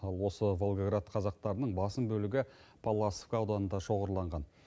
ал осы волгоград қазақтарының басым бөлігі палласовка ауданында шоғырланған